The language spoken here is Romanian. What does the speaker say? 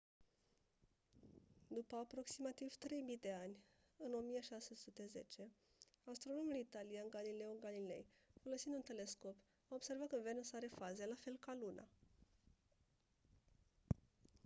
după aproximativ 3000 de ani în 1610 astronomul italian galileo galilei folosind un telescop a observat că venus are faze la fel ca luna